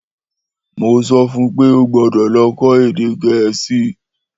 Mó sọfún pé ó gbódò lọ kó èdè gẹ̀ẹ́sì